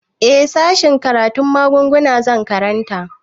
Eh sashen karatun magunguna zan karanta